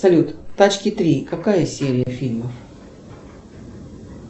салют тачки три какая серия фильма